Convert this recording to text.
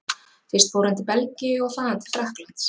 Fyrst fór hann til Belgíu og þaðan til Frakklands.